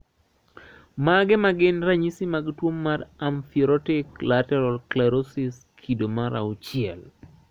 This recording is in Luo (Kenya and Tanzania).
Mage magin ranyisi mag tuo mar Amyotrophic lateral sclerosis kido mar auchiel?